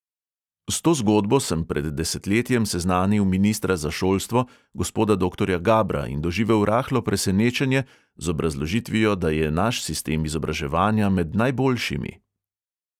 S to zgodbo sem pred desetletjem seznanil ministra za šolstvo gospoda doktorja gabra in doživel rahlo presenečenje z obrazložitvijo, da je naš sistem izobraževanja med najboljšimi.